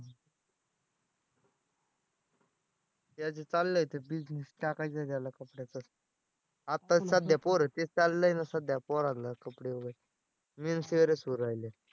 त्याचं चाललंय ते business टाकायचा आहे त्याला कपड्याचा. आताच सध्या पोरं ते चाललंय ना सध्या पोरांना कपडे वगैरे men wear च राहिलंय.